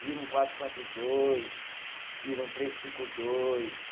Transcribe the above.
Vira um quatro, quatro, dois, vira um três, cinco, dois.